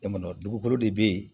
E ma dugukolo de bɛ ye